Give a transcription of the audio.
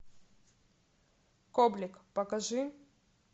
коблик покажи